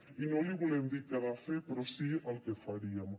i no li volem dir què ha de fer però sí el que faríem